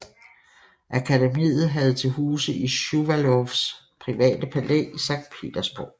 Akademiet havde til huse i Shuvalovs private palæ i Sankt Petersborg